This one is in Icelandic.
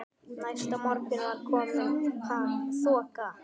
Næsta morgun var komin þoka.